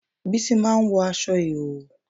Bísí máa ń wọ aṣọ ìhòòhò